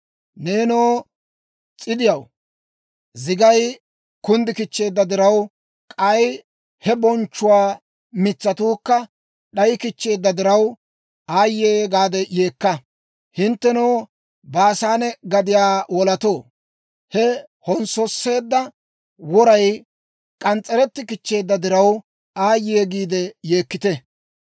Neenoo s'idiyaw, zigay kunddi kichcheedda diraw, k'ay he bonchchuwaa mitsatuukka d'ayikichcheedda diraw, aayye gaade yeekka! Hinttenoo Baasaane gadiyaa wolatoo, he konssoseedda woray k'ans's'etti kichcheedda diraw, aayye giide yeekkite.